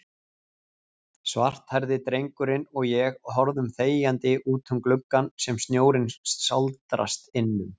Svarthærði drengurinn og ég horfum þegjandi útum gluggann sem snjórinn sáldrast innum.